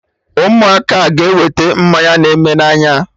Amaka a ga-ewete mmanya na eme n'anya?